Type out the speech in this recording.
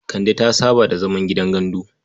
Kande ta saba da zaman gidan gandu.